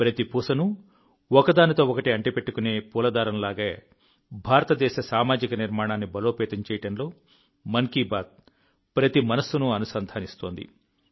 ప్రతి పూసను ఒకదానితో ఒకటి అంటిపెట్టుకునే పూల దారం లాగే భారతదేశ సామాజిక నిర్మాణాన్ని బలోపేతం చేయడంలో మన్ కీ బాత్ ప్రతి మనస్సును అనుసంధానిస్తోంది